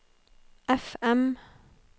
FM